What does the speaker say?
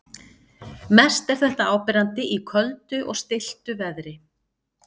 Mest er þetta áberandi í köldu og stilltu veðri.